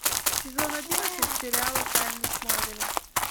сезон одиннадцать сериала тайны смолвиля